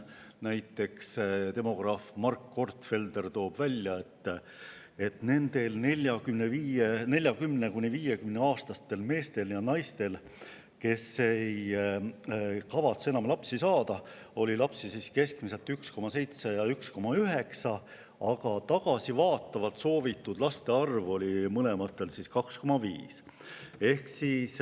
Näiteks toob demograaf Mark Gortfelder esile, et nendel 40–50‑aastastel meestel ja naistel, kes ei kavatse enam lapsi saada, oli keskmiselt 1,7 ja 1,9 last, aga tagasivaatavalt soovitud laste arv oli 2,5.